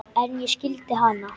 En ég skildi hana.